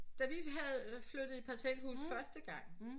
Da vi havde flyttede i parcelhus første gang